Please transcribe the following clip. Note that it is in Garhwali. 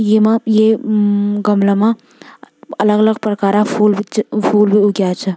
येमा ये मम गमला मा अलग अलग प्रकारा फूल भी च फूल भी उग्याँ छा।